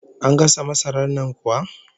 An gasa masarar nan kuwa?